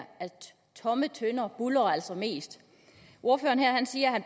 tomme tønder altså buldrer mest at ordføreren her siger at